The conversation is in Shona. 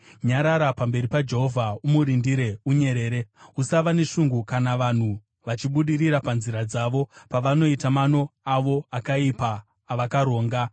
Nyarara pamberi paJehovha, umurindire unyerere; usava neshungu kana vanhu vachibudirira panzira dzavo, pavanoita mano avo akaipa avakaronga.